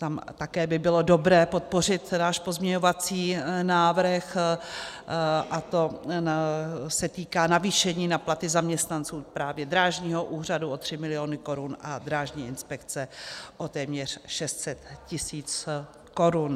Tam také by bylo dobré podpořit náš pozměňovací návrh, a to se týká navýšení na platy zaměstnanců právě Drážního úřadu o 3 miliony korun a Drážní inspekce o téměř 600 tisíc korun.